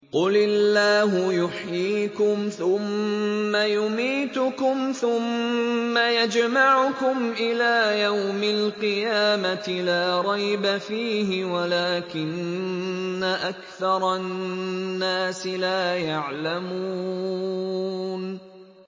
قُلِ اللَّهُ يُحْيِيكُمْ ثُمَّ يُمِيتُكُمْ ثُمَّ يَجْمَعُكُمْ إِلَىٰ يَوْمِ الْقِيَامَةِ لَا رَيْبَ فِيهِ وَلَٰكِنَّ أَكْثَرَ النَّاسِ لَا يَعْلَمُونَ